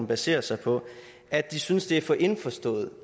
baserer sig på at de synes det er for indforstået